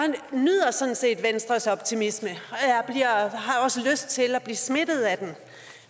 nyder sådan set venstres optimisme og også lyst til at blive smittet af den